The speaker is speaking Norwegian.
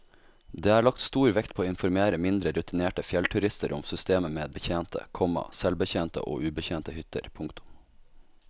Der er lagt stor vekt på å informere mindre rutinerte fjellturister om systemet med betjente, komma selvbetjente og ubetjente hytter. punktum